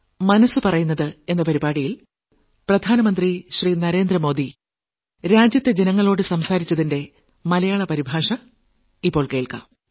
മനസ്സ് പറയുന്നത് അഞ്ചാം ലക്കം